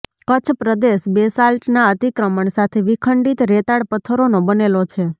કચ્છ પ્રદેશ બેસાલ્ટના અતિક્રમણ સાથે વિખંડિત રેતાળ પથ્થરોનો બનેલો છે